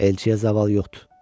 Elçiyə zaval yoxdur.